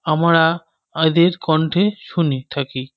আমরা এদের কন্ঠে শুনে থাকি।